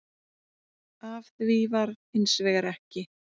Af því varð hins vegar ekki